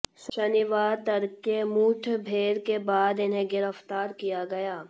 शनिवार तड़के मुठभेड़ के बाद इन्हें गिरफ्तार किया गया